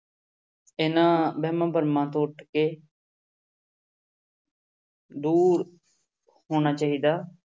ਇਹਨਾਂ ਵਹਿਮਾਂ ਭਰਮਾਂ ਤੋਂ ਉੱਠ ਕੇ ਦੂਰ ਹੋਣਾ ਚਾਹੀਦਾ।